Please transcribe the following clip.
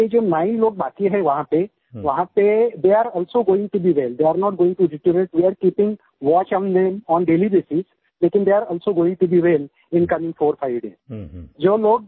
और अभी ये जो 9 लोग बाकी है वहाँ पे थे are also going to be well they are not going to deteriorate they are keeping watch on them on daily basis लेकिन they are also going to be well in current 45 days